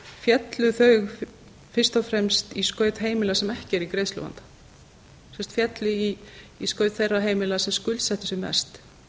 féllu þau fyrst og fremst í skaut heimila sem ekki eru í greiðsluvanda féllu í skaut þeirra heimila sem skuldsettu sig mest